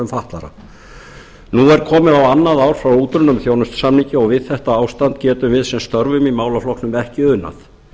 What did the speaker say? fatlaðra nú er kominn á annað ár frá útrunnum þjónustusamningi og við þetta ástand getum við sem störfum í málaflokknum ekki unað